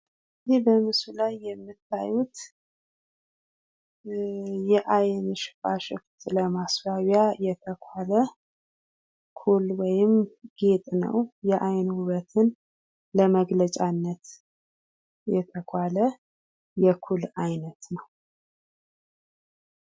ይህ በምስሉ ላይ የምታዩት የአይን ሽፋሽፍት ለማስዋቢያ የተኳላ ኩል ወይም ጌጥ ነው ። የአይን ውበትን ለመግለጫነት የተኳለ የኩል አይነት ነው ።